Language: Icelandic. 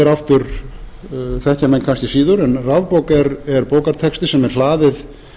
þann vef rafbók þekkja menn kannski síður en rafbók er bókartexti sem er hlaðið